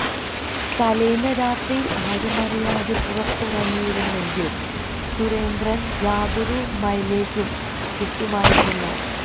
തലേന്ന് രാത്രിയിൽ ആരുമറിയാതെ പുറത്തിറങ്ങിയിരുന്നെങ്കിൽ സുരേന്ദ്രന് യാതൊരു മൈലേജും കിട്ടുമായിരുന്നില്ല